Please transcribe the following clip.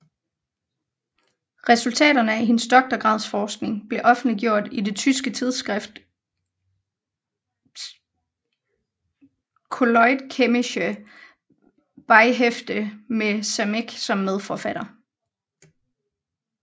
Resultaterne af hendes doktorgradsforskning blev offentliggjort i det tyske tidsskrift Kolloidchemische Beihefte med Samec som medforfatter